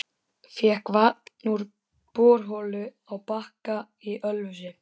Fékk vatn úr borholu á Bakka í Ölfusi.